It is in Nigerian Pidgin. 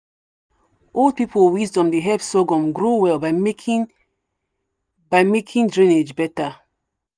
old people wisdom dey help sorghum grow well by making by making drainage better.